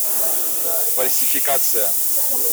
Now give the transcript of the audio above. фальсификация